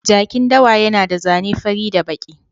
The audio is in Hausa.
Jakin dawa yana da zane fari da baki.